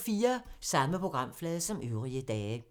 Samme programflade som øvrige dage